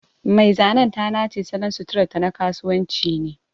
Mai zanen ta nace salon suturarta na kasuwanci ne.